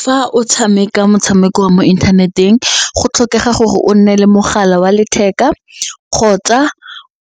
Fa o tshameka motshameko wa mo inthaneteng go tlhokega gore o nne le mogala wa letheka kgotsa